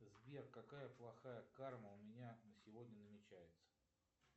сбер какая плохая карма у меня сегодня намечается